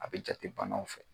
A be jate banaw fɛ